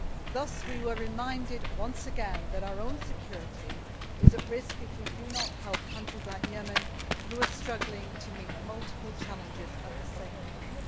Thus, we were reminded, once again, that our own security is at risk if we do not help countries like Yemen, who are struggling to meet multiple challenges at the same time.